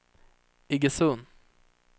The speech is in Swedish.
Iggesund